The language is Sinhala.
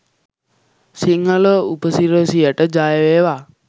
සිංහල උපසිරසියට! ජය වේවා!.